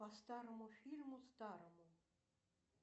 по старому фильму старому